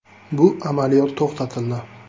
Bu amaliyot to‘xtatildi.